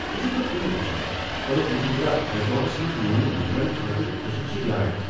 بہٕ چُھس نہٕ کُنہِ وچھان کلب مہندرا ریزورٹس منٛز میون ممبرن خٲطرٕ خصوصی رعایت۔